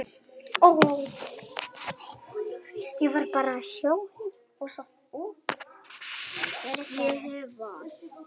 Ég hef val.